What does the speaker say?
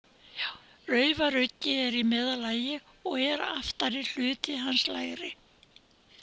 Raufaruggi er í meðallagi, og er aftari hluti hans lægri.